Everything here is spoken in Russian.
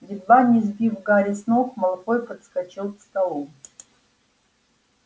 едва не сбив гарри с ног малфой подскочил к столу